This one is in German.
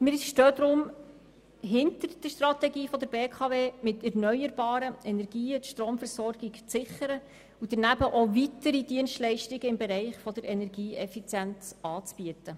Deshalb stehen wir hinter der Strategie der BKW, mit erneuerbaren Energien die Stromversorgung zu sichern und weitere Dienstleistungen im Bereich der Energieeffizienz anzubieten.